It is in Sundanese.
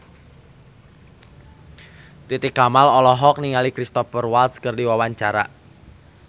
Titi Kamal olohok ningali Cristhoper Waltz keur diwawancara